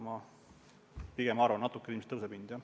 Ma pigem arvan, et natuke ilmselt hind tõuseb.